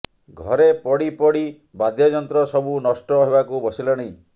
ଘରେ ପଡି ପଡି ବାଦ୍ୟଯନ୍ତ୍ର ସବୁ ନଷ୍ଟ ହେବାକୁ ବସିଲାଣି